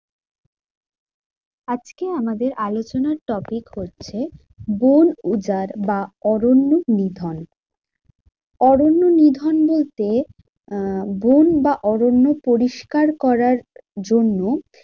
আজকে আমাদের আলোচনার topic হচ্ছে বন উজাড় বা অরণ্য নিধন। অরণ্য নিধন বলতে আহ বন বা অরণ্য পরিষ্কার করার জন্য